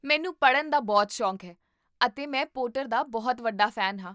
ਮੈਨੂੰ ਪੜ੍ਹਨ ਦਾ ਬਹੁਤ ਸ਼ੌਕ ਹੈ ਅਤੇ ਮੈਂ ਪੋਟਰ ਦਾ ਬਹੁਤ ਵੱਡਾ ਫੈਨ ਹਾਂ